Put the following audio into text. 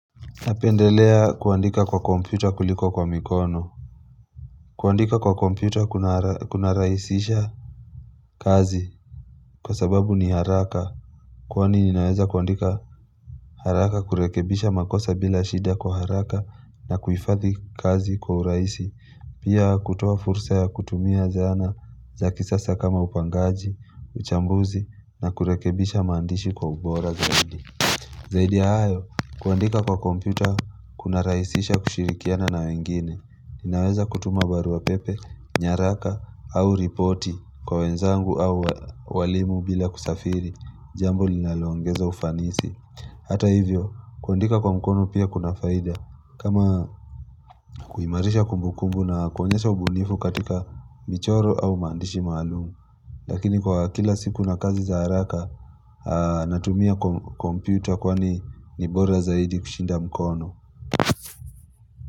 Napendelea kuandika kwa kompyuta kuliko kwa mikono kuandika kwa kompyuta kuna rahisisha kazi kwa sababu ni haraka Kwani ninaeza kuandika haraka kurekebisha makosa bila shida kwa haraka na kuifadhi kazi kwa urahisi Pia kutuo fursa ya kutumia zana za kisasa kama upangaji, uchambuzi na kurekebisha maandishi kwa ubora zaidi Zaidi hayo, kuandika kwa kompyuta, kuna rahisisha kushirikiana na wengine, ninaweza kutuma barua pepe, nyaraka au ripoti kwa wenzangu au walimu bila kusafiri, jambo linalongeza ufanisi Hata hivyo, kuandika kwa mkono pia kuna faida, kama kuhimarisha kumbu kumbu na kuonyesha ubunifu katika michoro au mandishi maalumu Lakini kwa kila siku na kazi za haraka natumia kompyuta kwani nibora zaidi kushinda mkono.